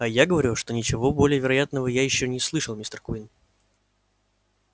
а я говорю что ничего более невероятного я ещё не слышал мистер куинн